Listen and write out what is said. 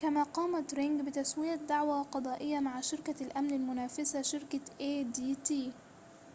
كما قامت رينج بتسوية دعوى قضائية مع شركة الأمن المنافسة شركة آي دي تي